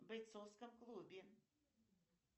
в бойцовском клубе